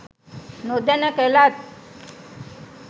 නොදැන කලත්